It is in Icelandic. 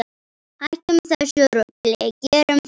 Hættum þessu rugli, gerum það!